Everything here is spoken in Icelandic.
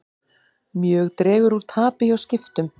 Mjög dregur úr tapi hjá Skiptum